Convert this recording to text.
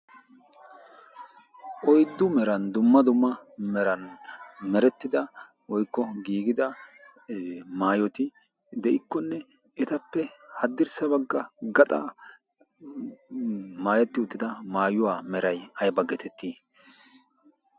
Oyddu meran dumma dumma meran merettida woykko giigida maayoti de'iikkonne etappe haddirssa bagga gaxaara maayetti uttida maayuwaa meray ayba getettii?